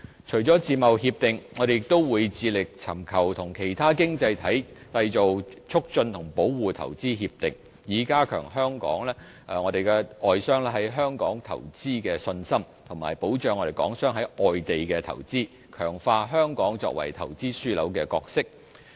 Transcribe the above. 除了自貿協定，我們亦會致力尋求與其他經濟體締結投資協定，以加強外商在香港投資的信心，以及保障港商在外地的投資，強化香港作為投資樞紐的角色。